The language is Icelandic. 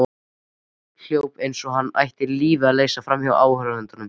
Hljóp eins og hann ætti lífið að leysa framhjá áhorfendunum.